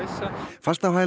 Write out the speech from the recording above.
fast á hæla